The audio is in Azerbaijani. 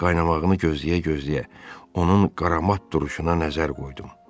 Qaynamağını gözləyə-gözləyə onun qaramat duruşuna nəzər qoydum.